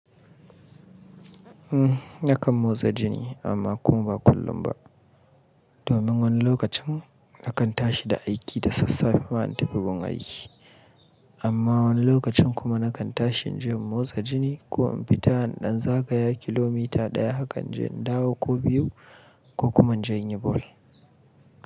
Nakan motsa jiki amma kuma ba kullum ba. Domin wani lokacin nakan tashi da aiki da sassafe ban tafin gun aiki. Amma wani lokacin kuma nakan tashin inje motsa jinii ko in fita in ɗan zagaya kilomita ɗaya hakan inje in dawo ko biyu ko kuma in je in yi ball.